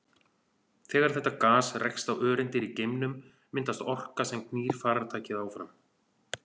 Þegar þetta gas rekst á öreindir í geimnum myndast orka sem knýr farartækið áfram.